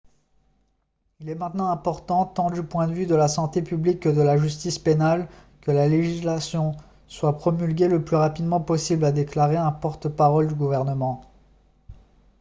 « il est maintenant important tant du point de vue de la santé publique que de la justice pénale que la législation soit promulguée le plus rapidement possible » a déclaré un porte-parole du gouvernement